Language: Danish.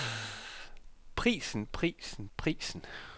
prisen prisen prisen